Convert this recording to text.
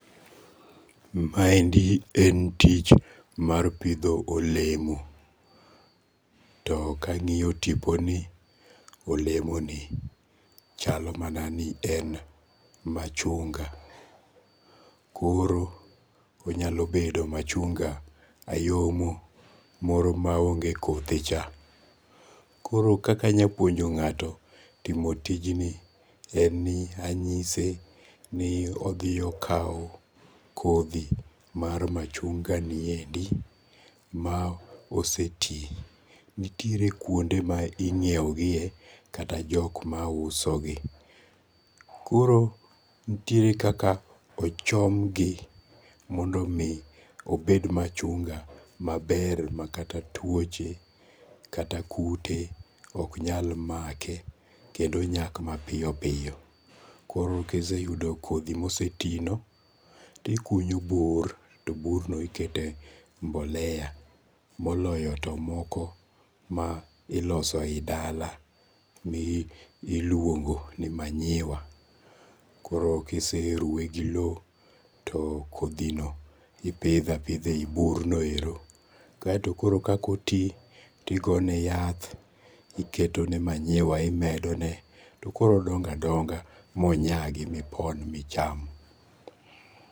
Ma endi en tich mar pidho olemo. To kang'iyo tipo ni, olemo ni chalo mana ni en machunga. Koro onyalo bedo machunga ayomo moro ma onge kothe cha. Koro kaka anya puonjo ngato timoo tijni en ni anyise ni odhi okaw kodhi mar machunga ni endi ma ose ti. Nitiere kuonde ma ing'iew gie kata jok ma uso gi. Koro nitiere kaka ochom gi mondo mi obed machunga maber ma kata tuoche kata kute ok nyal make kendo onyak mapiyo piyo. Koro kise yudo kodhi mose ti no tikunyo bur to bur no ikete mbolea moloyo to moko ma iloso e yi dala miluongo ni manyiwa. Koro kiseruwe gi low to kodhi no ipedho apinda e yi bur bio ero. Kasto koro kaka oti tigone yath, iketone manyiwa, imedone to koro odongo adonga monyagi mipon micham.